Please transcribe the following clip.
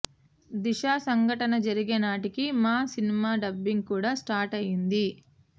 దిశ సంఘటన జరిగేనాటికి మా సినిమా డబ్బింగ్ కూడా స్టార్ట్ అయ్యింది